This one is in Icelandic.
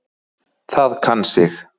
Það kann sig.